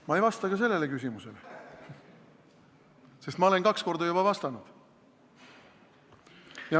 Ma ei vasta ka sellele küsimusele, sest ma olen juba kaks korda vastanud.